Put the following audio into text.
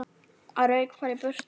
Rauk bara í burtu.